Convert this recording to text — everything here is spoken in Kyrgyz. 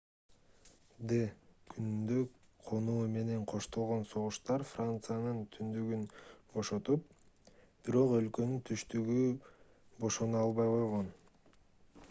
д-күнүндө конуу менен коштолгон согуштар франциянын түндүгүн бошотуп бирок өлкөнүн түштүгү бошоно албай койгон